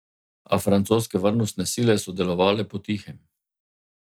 A francoske varnostne sile so delovale po tihem.